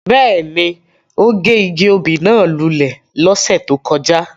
Bẹ́ẹ̀ni, o ge igi obí náa lule lọse to kọja.